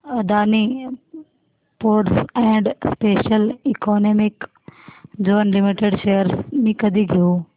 Adani Ports and Special Economic Zone Limited shares मी कधी घेऊ